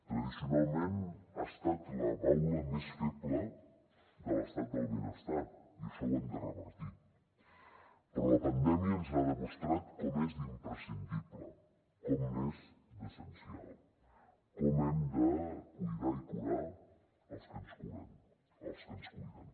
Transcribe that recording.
tradicionalment ha estat la baula més feble de l’estat del benestar i això ho hem de revertir però la pandèmia ens ha demostrat com és d’imprescindible com n’és d’essencial com hem de cuidar i curar els que ens curen els que ens cuiden